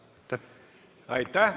Aitäh!